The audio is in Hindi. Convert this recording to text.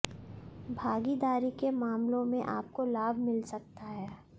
भागीदारी के मामलों में आपको लाभ मिल सकता है